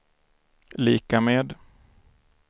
lika med